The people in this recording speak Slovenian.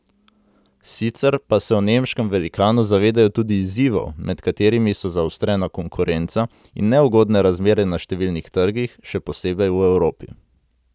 Sicer pa se v nemškem velikanu zavedajo tudi izzivov, med katerimi so zaostrena konkurenca in neugodne razmere na številnih trgih, še posebej v Evropi.